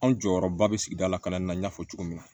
Anw jɔyɔrɔba bɛ sigida la kalanni na n y'a fɔ cogo min na